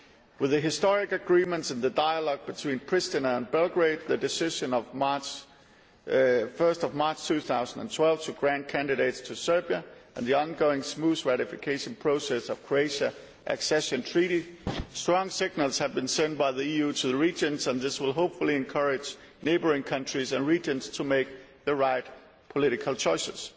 With the historic agreements in the dialogue between Pristina and Belgrade, the decision of 1 March 2012 to grant candidate status to Serbia and the ongoing smooth ratification process of Croatia's Accession Treaty, strong signals have been sent by the EU to the region and this will hopefully encourage neighbouring countries and regions to make the right political choices.